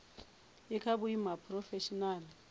i kha vhuimo ha phurofeshinala